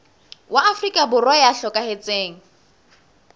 wa afrika borwa ya hlokahetseng